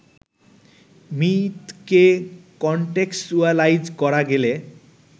মিথকে contextualise করা গেলে